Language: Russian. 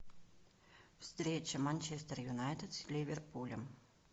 встреча манчестер юнайтед с ливерпулем